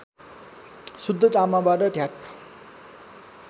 शुद्ध तामाबाट ढ्याक